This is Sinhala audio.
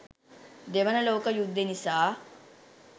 දෙවන ලෝක යුද්දෙ නිසා